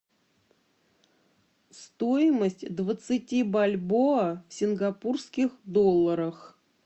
стоимость двадцати бальбоа в сингапурских долларах